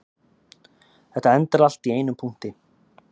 Þetta endar allt í einum punkti